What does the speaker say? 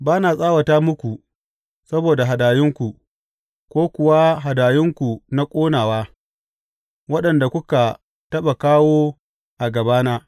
Ba na tsawata muku saboda hadayunku ko kuwa hadayunku na ƙonawa, waɗanda kuka taɓa kawo a gabana.